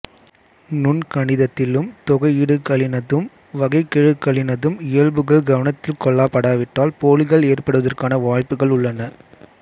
நுண்கணிதத்திலும் தொகையீடுகளினதும் வகைக்கெழுக்களினதும் இயல்புகள் கவனத்தில் கொள்ளப்படாவிட்டால் போலிகள் ஏற்படுவதற்கான வாய்ப்புக்கள் உள்ளன